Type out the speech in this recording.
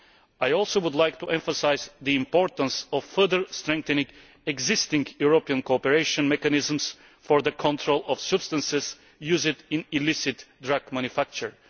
I also would like to emphasise the importance of further strengthening existing European cooperation mechanisms for the control of substances used in illicit drug manufacture.